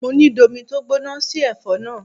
Mo ní domi tó gbóná sí ẹ̀fọ́ náà!